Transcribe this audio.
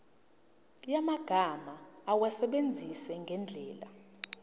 yamagama awasebenzise ngendlela